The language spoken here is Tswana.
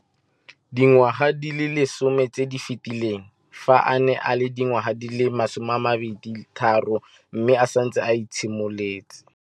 Dingwaga di le 10 tse di fetileng, fa a ne a le dingwaga di le 23 mme a setse a itshimoletse